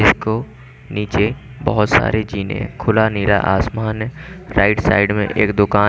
इसको नीचे बहोत सारे जीने खुला नीला आसमान राइट साइड में एक दुकान--